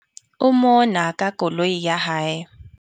O mona ka koloi ya hae.